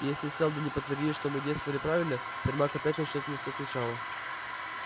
если сэлдон не подтвердит что мы действовали правильно сермак опять начнёт мне все сначала